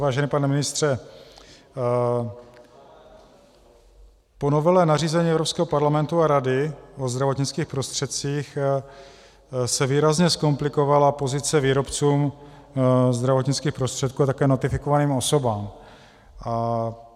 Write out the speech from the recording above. Vážený pane ministře, po novele nařízení Evropského parlamentu a Rady o zdravotnických prostředcích se výrazně zkomplikovala pozice výrobců zdravotnických prostředků a také notifikovaným osobám.